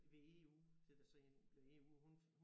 Ved EU da det så blev EU og hun